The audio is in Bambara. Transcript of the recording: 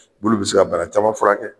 Olu bɛ se ka bana caman furakɛ sisan.